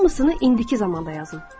Hamısını indiki zamanda yazın.